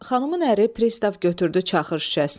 Xanımın əri pristav götürdü çaxır şüşəsini.